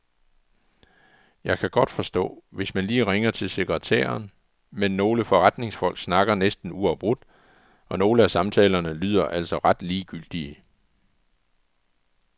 Jeg kan godt forstå, hvis man lige ringer til sekretæren, men nogle forretningsfolk snakker næsten uafbrudt, og nogle af samtalerne lyder altså ret ligegyldige.